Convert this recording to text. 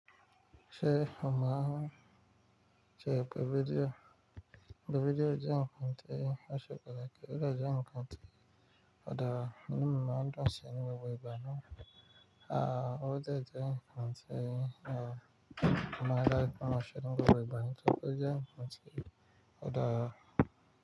Ṣé ó mọ sí ẹ pé fídíò, e pé fídíò jẹun nkan tẹ́ẹ̀, o se pàtàkì, o dé je nkan tí o dara inú mímọ́ dun ṣin ni gbogbo ibù náà? A ò dé jẹ nkan tẹ́ẹ̀, mo máa re dáju pe mo ṣe ni gbogbo ibù nitori pé o jẹ kan tẹ́ẹ̀, ọ̀ dàra.